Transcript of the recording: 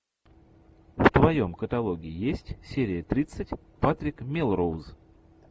в твоем каталоге есть серия тридцать патрик мелроуз